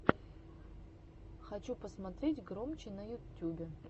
хочу посмотреть громчи на ютюбе